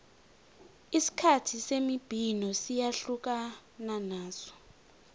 isikhathi semibhino siyahlukana naso